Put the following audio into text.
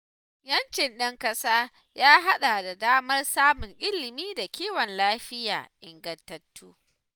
‘Yancin ɗan ƙasa ya haɗa da damar samun ilimi da kiwon lafiya ingantattu.